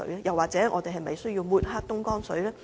又或者我們是否需要抹黑東江水呢？